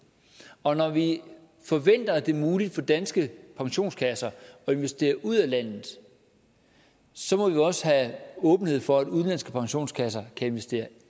og når vi forventer at det er muligt for danske pensionskasser at investere ud af landet må vi også have åbenhed over for at udenlandske pensionskasser kan investere